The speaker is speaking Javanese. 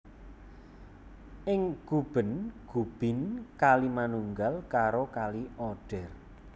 Ing Guben Gubin kali manunggal karo Kali Oder